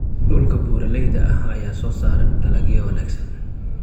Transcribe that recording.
Dhulka buuraleyda ah ayaa soo saara dalagyo wanaagsan.